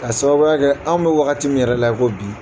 Ka sababuya kɛ anw bɛ wagati min yɛrɛ la i ko bi.